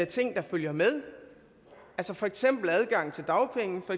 ting der følger med for eksempel adgang til dagpenge og